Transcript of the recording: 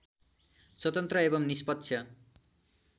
स्वतन्त्र एवं निष्पक्ष